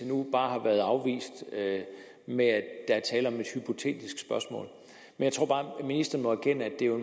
nu bare har været afvist med at der er tale om et hypotetisk spørgsmål jeg tror bare ministeren må erkende at det jo